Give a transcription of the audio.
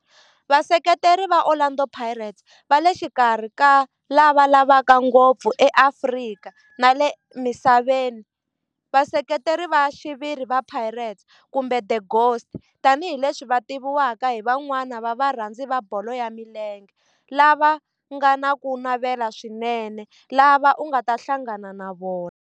Vaseketeri va Orlando Pirates va le xikarhi ka lava lavaka ngopfu eAfrika na le misaveni, Vaseketeri va xiviri va Pirates, kumbe 'the Ghost', tani hi leswi va tiviwaka hi van'wana va varhandzi va bolo ya milenge lava nga na ku navela swinene lava u nga ta hlangana na vona.